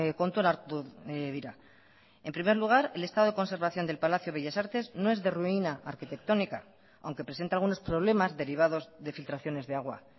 kontuan hartu dira en primer lugar el estado de conservación del palacio bellas artes no es de ruina arquitectónica aunque presenta algunos problemas derivados de filtraciones de agua